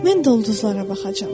Mən də ulduzlara baxacam.